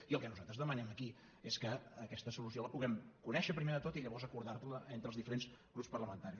i el que nosaltres demanem aquí és que aquesta solució la puguem conèixer primer de tot i llavors acordar la entre els diferents grups parlamentaris